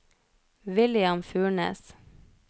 William Furnes